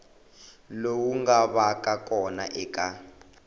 lowu nga vaka kona eka